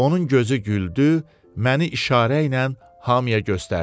Onun gözü güldü, məni işarə ilə hamıya göstərdi.